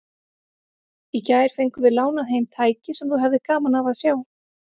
Í gær fengum við lánað heim tæki sem þú hefðir gaman af að sjá.